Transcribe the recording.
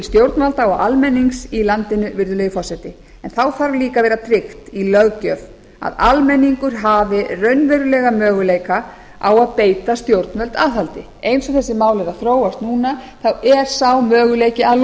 stjórnvalda og almennings í landinu virðulegi forseti en þá þarf líka að vera tryggt í löggjöf að almenningur hafi raunverulega möguleika á að beita stjórnvöld aðhaldi eins og þessi mál eru að þróast núna er sá möguleiki að losast